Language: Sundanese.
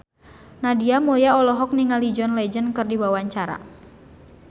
Nadia Mulya olohok ningali John Legend keur diwawancara